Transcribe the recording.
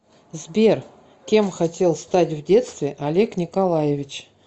сбер кем хотел стать в детстве олег николаевич